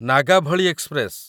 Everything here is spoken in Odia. ନାଗାଭଳି ଏକ୍ସପ୍ରେସ